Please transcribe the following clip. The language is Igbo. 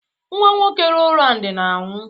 Nwa nwoke Rowland na-anwụ.